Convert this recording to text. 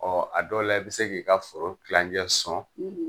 Ɔ a dɔw la i be se k'i ka foro kilancɛ sɔn